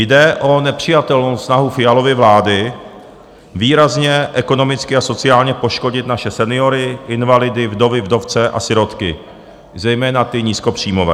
Jde o nepřijatelnou snahu Fialovy vlády výrazně ekonomicky a sociálně poškodit naše seniory, invalidy, vdovy, vdovce a sirotky, zejména ty nízkopříjmové.